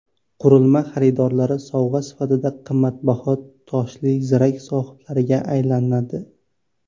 Qurilma xaridorlari sovg‘a sifatida qimmatbaho toshli zirak sohibalariga aylanadi.